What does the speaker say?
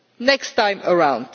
next time around.